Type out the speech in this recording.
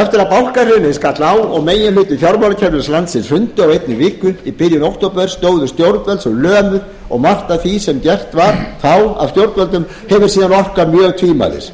eftir að bankahrunið skall á og meginhluti fjármálakerfis landsins hrundi á einni viku í byrjun október stóðu stjórnvöld lömuð og margt af því sem gert var þá af stjórnvöldum hefur síðan orkað mjög tvímælis